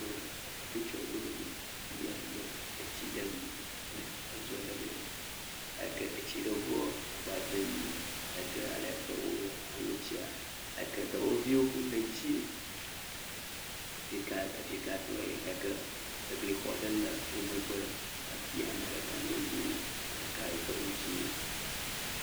Ame hatsotso aɖewo nye ya le afi ya nɔ etsi ɖem le edu aɖe me. Eke etsiɖeŋu agbagbadzem eyi ke ale ke woaŋɔ etsia. Eyi ke dɔwɔviwo le edzi ɖekaɖekatɔe. Eyi ke eglixɔ aɖewo le womegbe le afi ya. Ame ɖeka nɔ anyi, ame ɖeka do awu dzi.